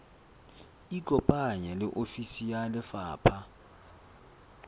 ikopanye le ofisi ya lefapha